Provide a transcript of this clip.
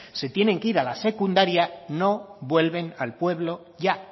se tienen que ir a la secundaria no vuelven al pueblo ya